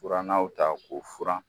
Furannaw ta k'u furan